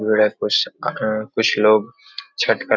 भीड़ है कुछ अहा कुछ लोग छठ करने --